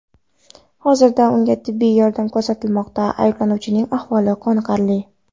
Hozirda unga tibbiy yordam ko‘rsatilmoqda, ayblanuvchining ahvoli qoniqarli.